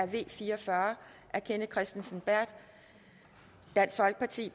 v fire og fyrre af kenneth kristensen berth